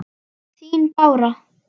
Þín, Bára.